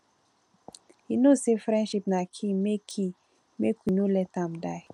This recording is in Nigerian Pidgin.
you know say friendship na key make key make we no let am die um